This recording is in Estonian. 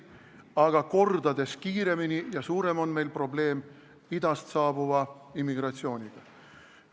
Aga mitu korda kiiremini kasvav ja suurem probleem on meil idast saabuva immigratsiooniga.